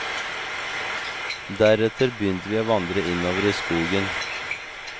Deretter begynte vi å vandre innover i skogen.